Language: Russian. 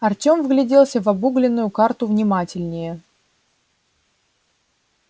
артём вгляделся в обугленную карту внимательнее